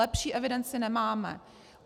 Lepší evidenci nemáme.